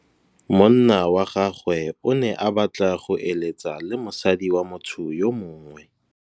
Monna wa gagwe o ne a batla go êlêtsa le mosadi wa motho yo mongwe.